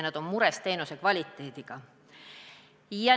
Nad on mures teenuse kvaliteedi pärast.